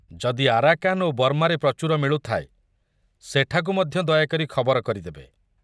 ଯଦି ଆରାକାନ ଓ ବର୍ମାରେ ପ୍ରଚୁର ମିଳୁଥାଏ, ସେଠାକୁ ମଧ୍ୟ ଦୟାକରି ଖବର କରିଦେବେ।